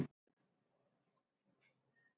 Hvenær gýs Geysir aftur?